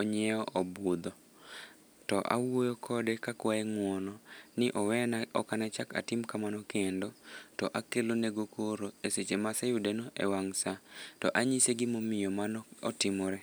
onyiewo obudho. To awuoyo kode ka akwaye ngúono, ni owena, oknachak atim kamano kendo. To akelonego koro e seche ma aseyudeno e wang' saa. To anyise gima omiyo mano otimore.